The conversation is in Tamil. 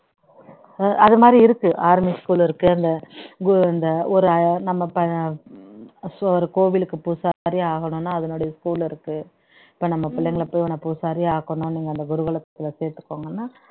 அது மாதிரி இருக்கு army school இருக்கு அந்த குரு அந்த ஒரு நம்ம ப so ஒரு கோவிலுக்கு பூசாரி ஆகணும்னா அதனுடைய school இருக்கு இப்போ நம்ம பிள்ளைங்களை பூசாரியே ஆக்கணும்னு அந்த குருகுலத்துல சேர்த்துக்கோங்கன்னா